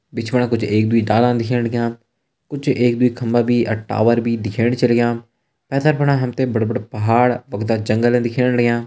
बिच फुंडा कुछ एक दुई ताला दिखेण लग्यां कुछ एक दुई खम्बा भी और टावर भी दिखेण छन लग्यां। पैथर फुंडा हम त बड़ा बड़ा पहाड़ बगता जंगल छन दिखेण लग्यां।